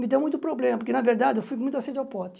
Me deu muito problema, porque na verdade eu fui com muita sede ao pote.